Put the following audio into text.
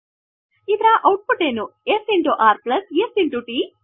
ಇದರ output ಏನು s r s ಟ್